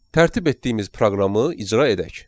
Tərtib etdiyimiz proqramı icra edək.